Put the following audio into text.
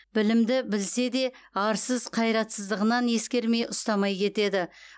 білімді білсе де арсыз қайратсыздығынан ескермей ұстамай кетеді